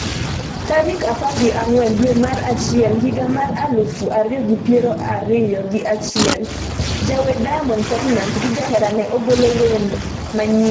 tarik apar gi ang'wen dwe mar achiel higa mar aluf ariyo gi piero ariyo gi achiel , jawer Diamond Platinumz gi jaherane ogolo wende manyien